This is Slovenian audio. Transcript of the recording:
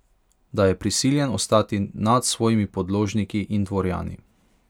Da je prisiljen ostati nad svojimi podložniki in dvorjani.